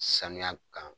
Sanuya kan